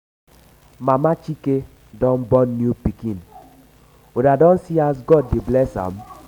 i dey give i dey give my pikin name today all of una fit come.